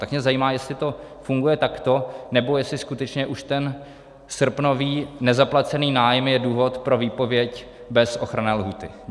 Tak mě zajímá, jestli to funguje takto, nebo jestli skutečně už ten srpnový nezaplacený nájem je důvod pro výpověď bez ochranné lhůty.